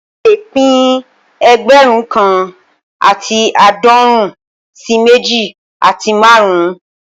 A lè pín ẹgbẹ̀rún kan àti aadọrun sí méjì àti márùn-ún